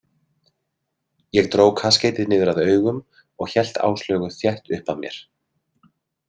Ég dró kaskeitið niður að augum og hélt Áslaugu þétt upp að mér.